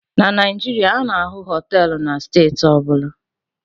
Na Naijiria, a na-ahụ họteelụ na steeti ọ bụla